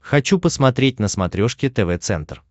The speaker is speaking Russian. хочу посмотреть на смотрешке тв центр